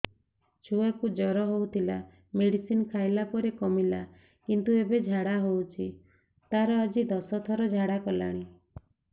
ଛୁଆ କୁ ଜର ହଉଥିଲା ମେଡିସିନ ଖାଇଲା ପରେ କମିଲା କିନ୍ତୁ ଏବେ ଝାଡା ହଉଚି ତାର ଆଜି ଦଶ ଥର ଝାଡା କଲାଣି